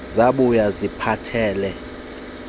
zabuya zikuphathele usmayili